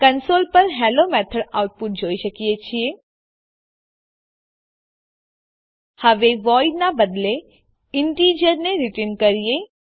console પર hello method output જોઈએ છીએ હવે વોઇડ નાં બદલે ઇન્ટિજર ને રીટર્ન કરીએ